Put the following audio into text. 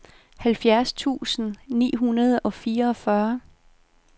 halvfjerds tusind ni hundrede og fireogfyrre